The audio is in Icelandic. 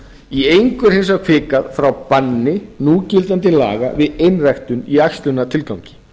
í engu er hins vegar hvikað frá banni núgildandi laga við einræktun í æxlunartilgangi